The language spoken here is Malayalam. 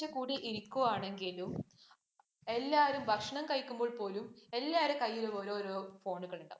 ഇരിക്കുവാണെങ്കിലും, എല്ലാരും ഭക്ഷണം കഴിക്കുമ്പോള്‍ പോലും, എല്ലാരുടെ കൈയ്യിലും ഓരോരോ phone ഉകള്‍ ഉണ്ടാവും.